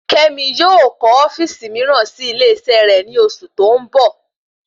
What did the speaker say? Kémi yóò kọ ofíìsì miiran sí ilé isé rè ni oṣù tó ń bọ̀